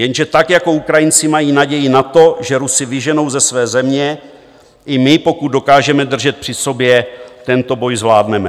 Jenže tak jako Ukrajinci mají naději na to, že Rusy vyženou ze své země, i my, pokud dokážeme držet při sobě, tento boj zvládneme.